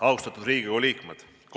Austatud Riigikogu liikmed!